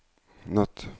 natt